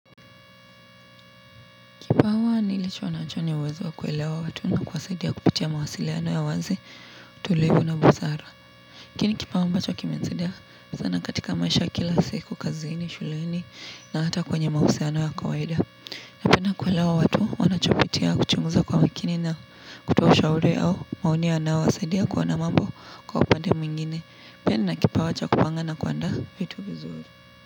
Kipawa nilichonacho ni ya uwezo wa kuwelewa watu na kuwasaidia kupitia mawasiliano ya wazi, tulivu na busara. Hiki ni kipawa ambacho kimenisaidia sana katika maisha kila siku, kazini, shuleni na hata kwenye mahusiano ya kawaida. Napenda kuelewa watu wanachopitia kuchunguza kwa makini na kutoa ushauri au maoni yanawasaidia kuona mambo kwa upande mwingine. Pia nina kipawa cha kupanga na kuandaa vitu vizuri.